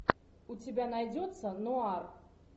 у тебя найдется нуар